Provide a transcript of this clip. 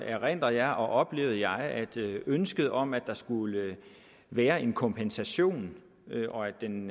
erindrer jeg og oplevede jeg at ønsket om at der skulle være en kompensation og at den